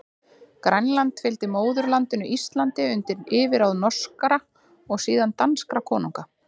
Grænland fylgdi móðurlandinu Íslandi undir yfirráð norskra, og síðan danskra konunga.